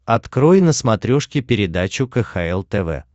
открой на смотрешке передачу кхл тв